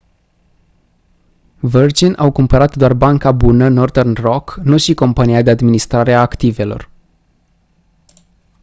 virgin au cumpărat doar banca bună northern rock nu și compania de administrare a activelor